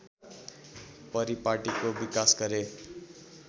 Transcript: परिपाटिको विकास गरे